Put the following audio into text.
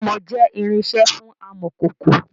Amọ̀ jẹ irinsẹ́ fún amọ̀kòkò